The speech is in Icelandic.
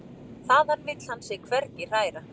Þaðan vill hann sig hvergi hræra.